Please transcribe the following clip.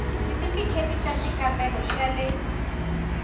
xithifiketi xa xikambelo xa le